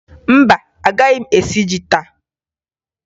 Mba, agaghị m esi ji taa